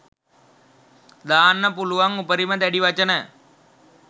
දාන්න පුළුවන් උපරිම දැඩි වචන